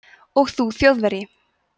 og þú þjóðverji